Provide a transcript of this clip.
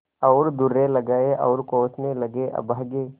और दुर्रे लगाये और कोसने लगेअभागे